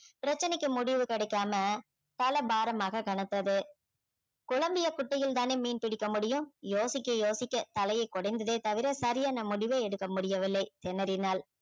பிரச்சனைக்கு முடிவு கிடைக்காம தலை பாரமாக கனத்துது குழம்பிய குட்டையில் தானே மீன் பிடிக்க முடியும் யோசிக்க யோசிக்க தலையை குடைந்ததே தவிர சரியான முடிவே எடுக்க முடியவில்லை திணறினாள்